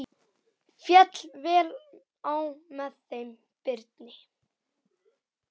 Féll vel á með þeim Birni.